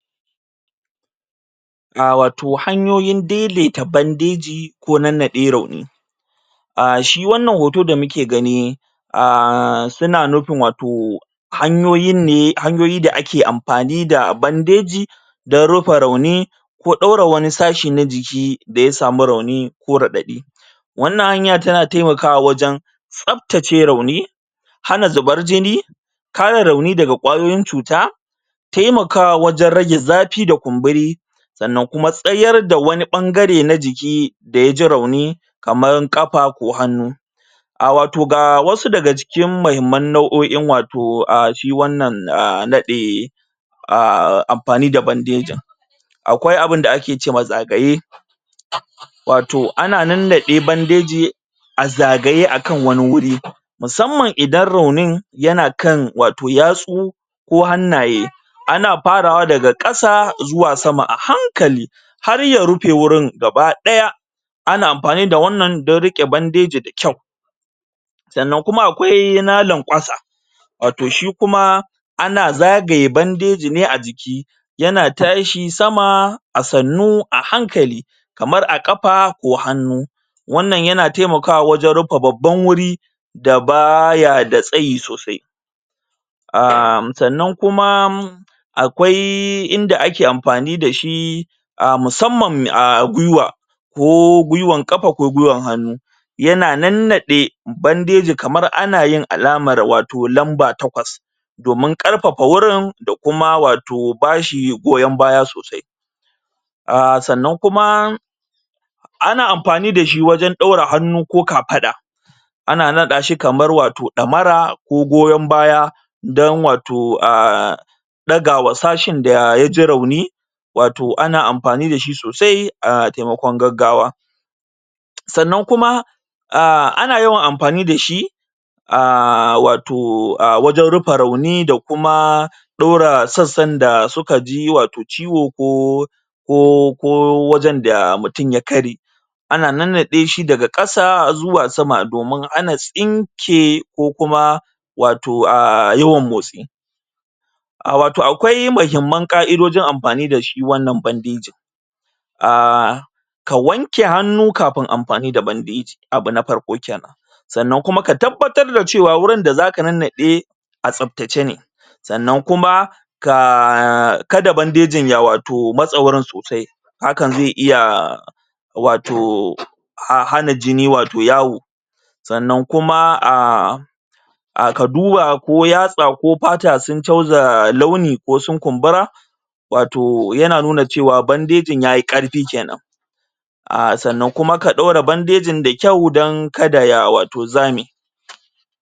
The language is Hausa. A wato hanyoyin daidaita bandeji ko nannaɗe rauni a shi wannan hoto da muke gani a suna nufin wato hanyoyin ne hanyoyi da ake amfani da bandeji dan rufe rauni ko ɗaure wani sashi na jiki da ya samu rauni ko raɗaɗi wannan hanya taimakawa wajen tsaftace rauni hana zubar jini kare rauni daga kwayoyin cuta taimakawa wajen rage zafi da kumburi sannan kuma tsayar da wani ɓangare na jiki da ya ji rauni kaman ƙafa ko hannu a wato ga wasu daga cikin mahimman nau'o'in wato shi wannan naɗe a amfani da bandejin akwai abinda ake ce ma zagaye wato ana nannade bandejin aa zagaye akan wani wuri musamman idan raunin yana kan wato yatsu ko hannaye ana farawa daga ƙasa zuwa sama a hankali har ya rufe wurin gabadaya ana amfani da wannan don riƙe bandeji da yau sannan kuma akwai na lankwasa wato shi kuma ana zagaye bandeji ne a jiki yana tashi sama a sannu a hankali kamar a kafa ko hannu wannan yana taimakawa wajen rufe babban wuri da ba ya da tsayi sosai a sannan kuma akwai inda ake amfani da shi a musamman a gwiwa ko gwiwan kafa ko gwiwan hannu yana nannaɗe bandeji kaman ana yin alamar wato lamba takwas domin ƙarfafa wurin da kuma wato bashi goyon baya sosai a sannan kuma a na amfani da shi wajen ɗaure hannu ko kafada ana naɗa shi kaman wato ɗamara ko goyon baya don wato a ɗaga wa sashin da yaji rauni wato ana amfani da shi sosai a taimakon gaggawa sannan kuma a ana yawan amfani da shi a wato a wajen rufe rauni da kuma ɗora sassan da suka ji wato ciwo ko ko ko wajen da mutum ya karye ana nannaɗe shi daga ƙasa zuwa sama domin hana tsinke ko kuma wato yawan motsi a wato akwai muhimman ƙa'idojin amfani da shi wannan bandejin um ka wanke hannu kafin amfani da bandeji abu na farko kenan sannan kuma ka tabbatar da cewa wurin da za ka nannaɗe a tsaftace ne sannan kuma ka kada bandejin ya matse wato wurin sosai hakan zai iya wato hana jini wato yawo sannan kuma a ka duba ko yatsa ko fata sun chanza launi ko sun kumbura wato yana nuna cewa bandejin yayi ƙarfi kenan a sannan kuma ka ɗaure bandejin da kyau don kada ya wato za me.